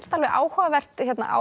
alveg áhugavert